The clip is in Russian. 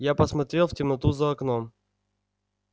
я посмотрел в темноту за окном